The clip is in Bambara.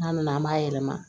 N'a nana an b'a yɛlɛma